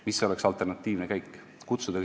Mis oleks olnud alternatiivne käik?